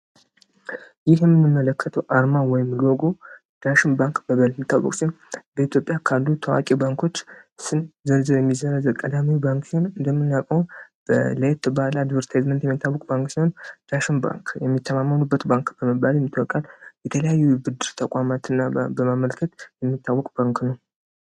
ይህ የምንመለከተው አርማ ወይም ሎጐ ዳሽን ባንክ በመባል የሚታወቅ ሲሆን በኢትዮጵያ ካሉ ታዋቂ ባንኮች ስም ዝርዝር የሚዘረዘር ቀዳሚው ባንክ ሲሆን እንደምናውቀው ለየት ባለ አድቨርታይዝመንት የሚታወቅ ባንክ ሲሆን ዳሽን ባንክ የሚተማመኑበት ባንክ በመባል ይታወቃል ። የተለያዩ የብድር ተቋማትን በማመልከት የሚታወቅ ባንክ ነው ።